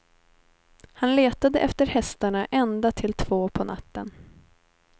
Han letade efter hästarna ända till två på natten.